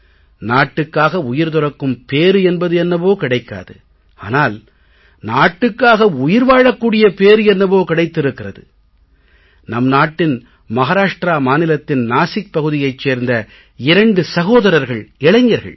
நாட்டுக்காக உயிர் துறக்கும் பேறு என்பது என்னவோ கிடைக்காது ஆனால் நாட்டுக்காக உயிர் வாழக் கூடிய பேறு என்னவோ கிடைத்திருக்கிறது நம் நாட்டின் மஹாராஷ்ட்ரா மாநிலத்தின் நாசிக் பகுதியைச் சேர்ந்த 2 சகோதரர்கள் இளைஞர்கள் டா